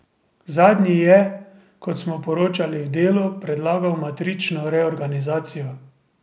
Zadnji je, kot smo poročali v Delu, predlagal matrično reorganizacijo.